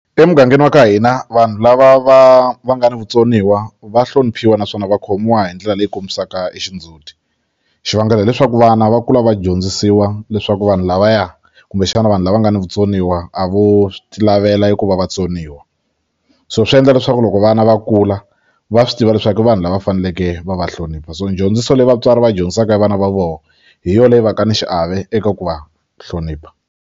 Emugangeni wa ka hina vanhu lava va va nga ni vutsoniwa va hloniphiwa naswona va khomiwa hi ndlela leyi kombisaka e xindzuti xivangelo hileswaku vana va kula va dyondzisiwa leswaku vanhu lavaya kumbexana vanhu lava nga ni vutsoniwa a vo ti lavela eku va vatsoniwa so swi endla leswaku loko vana va kula va swi tiva leswaku i vanhu lava faneleke va va hlonipha so dyondziso leyi vatswari va dyondzisaka vana va voho hi yo leyi va ka ni xiave eka ku va hlonipha.